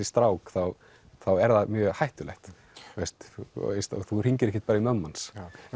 strák þá er það mjög hættulegt þú hringir ekkert bara í mömmu hans